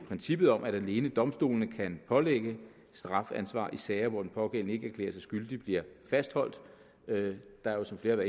princippet om at alene domstolene kan pålægge strafansvar i sager hvor den pågældende ikke erklærer sig skyldig bliver fastholdt der er så flere